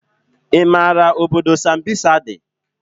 I maara obodo sambisa dị?